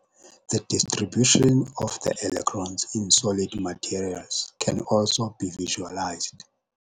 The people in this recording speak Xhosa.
The distribution of the electrons in solid materials can also be visualized.